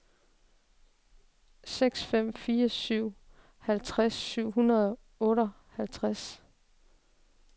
seks fem fire syv halvtreds syv hundrede og otteoghalvtreds